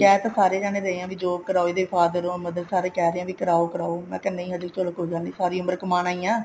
ਕਹਿ ਤਾਂ ਸਾਰੇ ਜਾਣੇ ਰਹੇ ਹਾਂ ਵੀ job ਕਰਾਓ ਇਹਦੇ father or mother ਸਾਰੇ ਕਹਿ ਰਹੇ ਨੇ ਵੀ ਕਰਾਓ ਮੈਂ ਕਿਹਾ ਚਲੋ ਹਜੇ ਕੋਈ ਗੱਲ ਨੀ ਸਾਰੀ ਉਮਰ ਕਮਾਉਣਾ ਹੀ ਹੈ